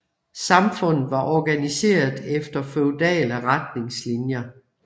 Samfundet var organiseret efter feudale retningslinjer